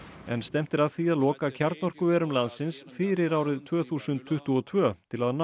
en stefnt er að því að loka kjarnorkuverum landsins fyrir árið tvö þúsund tuttugu og tvö til að ná